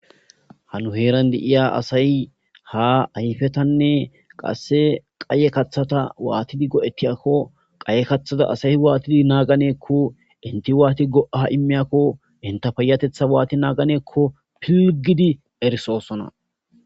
Ha nu herran de7iya asay ayffetane qasse qayye kaththata waatidi goo7etiyakko qayye aththaza asay waatidi naggane giiko eenti waati go77a immiyako entta payattetha waati naggane giiko filligidi errissosoona.